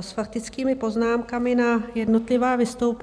s faktickými poznámkami na jednotlivá vystoupení.